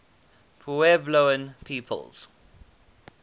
puebloan peoples